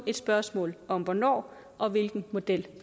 et spørgsmål om hvornår og hvilken model